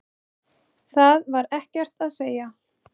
Það var ekkert að segja.